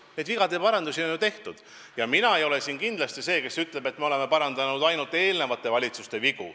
Neid vigade parandusi on ju tehtud ja mina ei ole kindlasti see, kes ütleb, et me oleme parandanud ainult eelmiste valitsuste vigu.